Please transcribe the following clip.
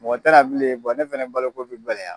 Mɔgɔ te na bilen bɔn ne fana baloko be gɛlɛya